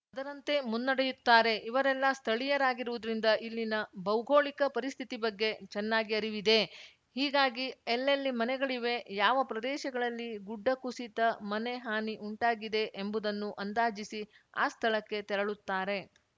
ಅದರಂತೆ ಮುನ್ನಡೆಯುತ್ತಾರೆ ಇವರೆಲ್ಲಾ ಸ್ಥಳೀಯರಾಗಿರುವುದರಿಂದ ಇಲ್ಲಿನ ಭೌಗೋಳಿಕ ಪರಿಸ್ಥಿತಿ ಬಗ್ಗೆ ಚೆನ್ನಾಗಿ ಅರಿವಿದೆ ಹೀಗಾಗಿ ಎಲ್ಲೆಲ್ಲಿ ಮನೆಗಳಿವೆ ಯಾವ ಪ್ರದೇಶಗಳಲ್ಲಿ ಗುಡ್ಡಕುಸಿತ ಮನೆ ಹಾನಿ ಉಂಟಾಗಿದೆ ಎಂಬುದನ್ನು ಅಂದಾಜಿಸಿ ಆ ಸ್ಥಳಕ್ಕೆ ತೆರಳುತ್ತಾರೆ